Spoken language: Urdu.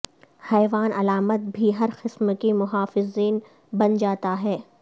حیوان علامت بھی ہر قسم کے محافظ بن جاتا ہے